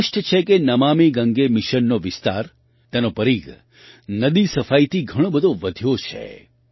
સ્પષ્ટ છે કે નમામિ ગંગે મિશનનો વિસ્તાર તેનો પરીઘ નદી સફાઈથી ઘણો બધો વધ્યો છે